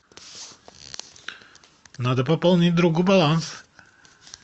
надо пополнить другу баланс